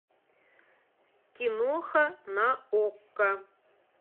киноха на окко